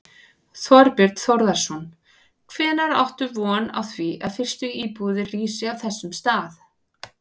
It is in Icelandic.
Þorbjörn Þórðarson: Hvenær áttu von á því að fyrstu íbúðir rísi á þessum stað?